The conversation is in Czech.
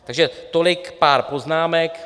Takže tolik pár poznámek.